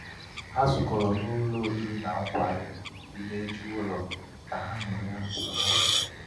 ha zukọrọ n'ụlọ oriri na nkwari dị n'eju ụlọ ka ha ka ha ñụrịa n'ụtụ ha nwetara.